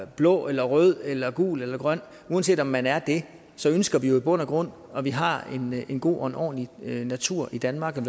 blå eller rød eller gul eller grøn uanset om man er det ønsker vi jo i bund og grund at vi har en god og en ordentlig natur i danmark og